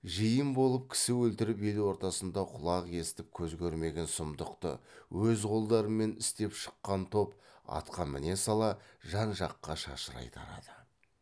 жиын болып кісі өлтіріп ел ортасында құлақ естіп көз көрмеген сұмдықты өз қолдарымен істеп шыққан топ атқа міне сала жан жаққа шашырай тарады